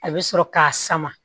A bɛ sɔrɔ k'a sama